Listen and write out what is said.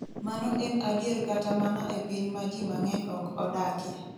Mano en adier kata mana e piny ma ji mang'eny ok odakie.